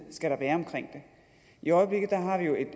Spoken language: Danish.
skal være omkring det i øjeblikket har vi jo